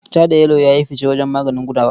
Ja da yelo ya yi fice wajen maganin gudawa.